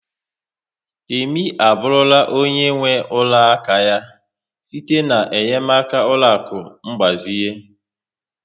Temi abụrụla onye nwe ụlọ aka ya site na-enyemaka ụlọaku ngbazinye